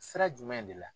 Sira jumɛn de la